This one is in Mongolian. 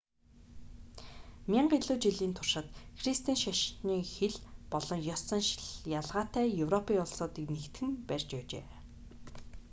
мянга илүү жилийн туршид христийн шашин хэл болон ёс заншил ялгаатай европын улсуудыг нэгтгэн барьж байжээ